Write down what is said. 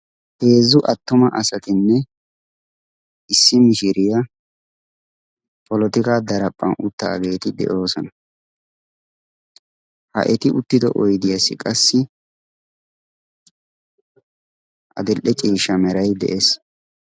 heezzu attuma asatinne issi mishiriyaa polotika daraphphan uttaageeti de7oosona ha eti uttido oidiyaassi qassi adil7e ciishsha merai de7ees